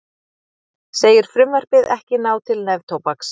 Segir frumvarpið ekki ná til neftóbaks